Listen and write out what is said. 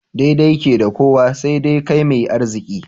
Daidai ke da kowa, sai dai kai mai arziki.